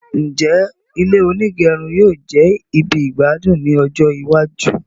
Njẹ ilé onígẹrun yóò jẹ ibì igbadun ní ọjọ iwájú?